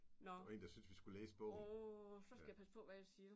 Nåh. Så skal jeg passe på hvad jeg siger